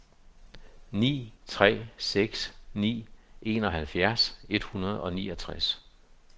ni tre seks ni enoghalvfjerds et hundrede og niogtres